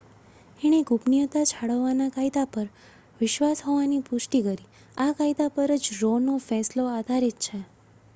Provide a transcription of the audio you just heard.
એણે ગુપનીયતા જાળવવા ના કાયદા પર વિશ્વાસ હોવાની પુષ્ટિ કરી આ કાયદા પરજ રો નો ફેંસલો આધારિત છે